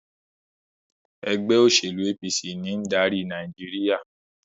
ègbé òṣèlú APC ní ń dárí Nàìjíríà.